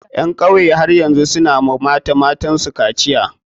Ƴan kauyen har yanzu su na wa mata matan su kaciya.